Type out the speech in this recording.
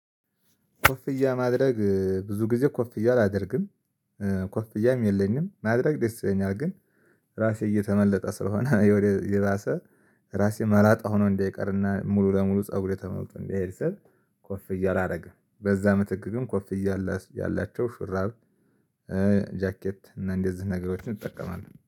ኮፍያ ማድረግ ብዙ ጊዜ ኮፍያ አላደርግም። ኮፍያም የለኝም ማድረግ ደስ ይለኛል። ግን ራሴ እየተመለጠ ስለሆነ የወደ የራሰ ራሴ መላጣ ሆኖ እንዳይቀርና ሙሉ ለሙሉ ፀጉሬ ተመልጦ እንዳይርዘም። ኮፍያ አላረግም በዛ ምትክ ግን ኮፍያ ያላቸው ሹራብ። ጃኬት እና እንደዚህ ነገሮችን እጠቀማለሁ